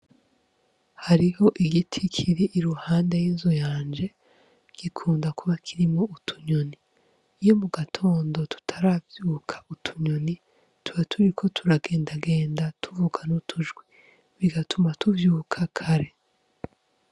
Hariho igiti kiri iruhande y' inzu yanje gikunda kuba kirimwo utunyoni iyo mu gatondo tutaravyuka utunyoni tuba turiko turagenda genda tuvuga n' utujwi bigatuma tuvyuka kare.